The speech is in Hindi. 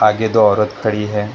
आगे दो औरत खड़ी है।